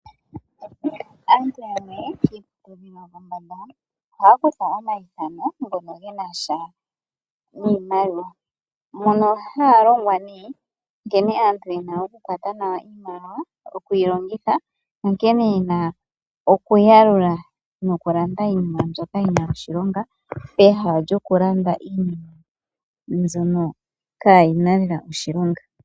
Aantu yamwe kiiputudhilo yopo mbanda ohaya kutha omayithano ngono genasha niimaliwa. Mono haya longwa ne nkene aantu yena oku kwata nawa iimaliwa okuyi longitha , onkene yena oku yalula noku landa iinima mbyoka yina oshilonga peha lyoku landa iinima mbyono kayina lela oshilonga.